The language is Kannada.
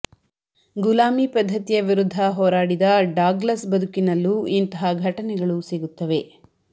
ಗುಲಾಮಿ ಪದ್ಧತಿಯ ವಿರುದ್ಧ ಹೋರಾಡಿದ ಡಾಗ್ಲಸ್ ಬದುಕಿನಲ್ಲೂ ಇಂತಹ ಘಟನೆಗಳು ಸಿಗುತ್ತವೆ